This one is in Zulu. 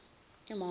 imoto